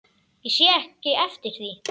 Ég sé ekki eftir því.